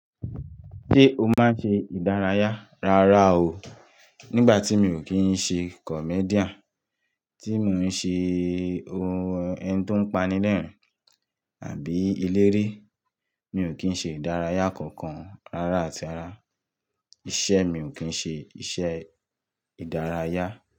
Ṣé o máa ń ṣe ìdárayá? Rárá o, nígbà tí mi ò kí ń ṣe comedian, tí mo ń ṣe ohun ẹni tó ń panilẹ́rìn-ín àbí eléré, mi ò kí ń ṣe ìdárayá kankan rárá àti ara. Iṣẹ́ mi ò kí ń ṣe iṣẹ́ ìdárayá.